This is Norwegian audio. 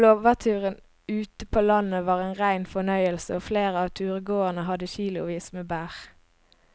Blåbærturen ute på landet var en rein fornøyelse og flere av turgåerene hadde kilosvis med bær.